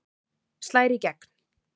Slær í gegn